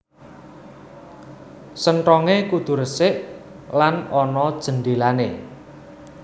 Senthongé kudu resik lan ana jendhélané